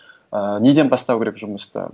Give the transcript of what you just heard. ыыы неден бастау керек жұмысты